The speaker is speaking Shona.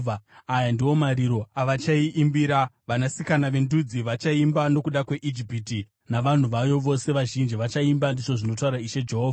“Aya ndiwo mashoko okuchema avachaiimbira. Vanasikana vendudzi vachaimba; nokuda kweIjipiti navanhu vayo vose vazhinji vachaimba, ndizvo zvinotaura Ishe Jehovha.”